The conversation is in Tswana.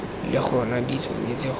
le gona di tshwanetse go